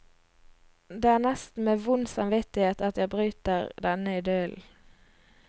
Det er nesten med vond samvittighet at jeg bryter denne idyllen.